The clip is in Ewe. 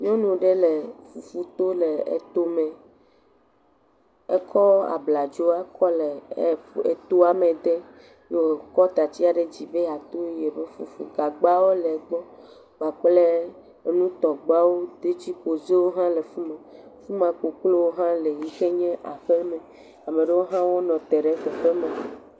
nyɔnu ɖɛ lɛ fufu to le etó mɛ ekɔ abladzoa le atoa mɛ dem ye wókɔ tatsia ɖe dzi be yato yeƒe fufu gagbawo le gbɔ kpakple enutɔgbawo detsiƒozewo hã le fima fima koklowo hã le amaɖewo hã nɔte ɖe afima